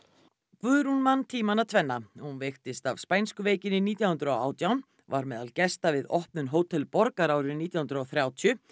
Guðrún man tímana tvenna hún veiktist af spænsku veikinni nítján hundruð og átján var meðal gesta við opnun Hótel borgar árið nítján hundruð og þrjátíu